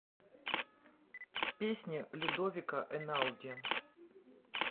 песня людовико эйнауди